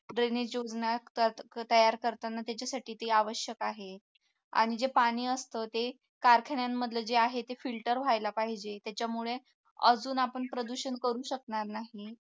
तयार करताना त्याच्यासाठी ते आवश्यक आहे आणि जे पाणी असतं ते कारखान्यांमधल जे आहे ते filter व्हायला पाहिजे त्याच्यामुळे अजून आपण प्रदूषण करू शकणार नाही